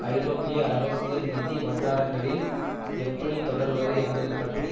ஐரோப்பிய அரசியல் நிதி வட்டாரங்களில் எப்படி தொடர்வது என்பது பற்றி